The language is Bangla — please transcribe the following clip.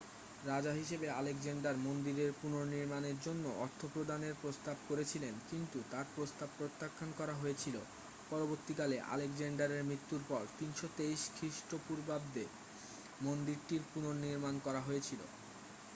রাজা হিসাবে আলেকজান্ডার মন্দিরের পুনর্নির্মাণের জন্য অর্থ প্রদানের প্রস্তাব করেছিলেন কিন্তু তার প্রস্তাব প্রত্যাখ্যান করা হয়েছিল পরবর্তীকালে আলেকজান্ডারের মৃত্যুর পর 323 খ্রিস্টপূর্বাব্দে মন্দিরটির পুনর্নির্মাণ করা হয়েছিল